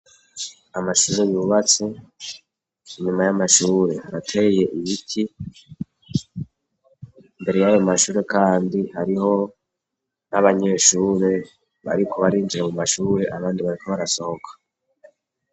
Amashuri yubatse; inyuma y'amashure harateye ibiti. Imbere y'ayo mashure kandi hariho n'abanyeshure bariko barinjira mu mashure, abandi bariko barasohoka.